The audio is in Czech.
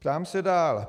Ptám se dál.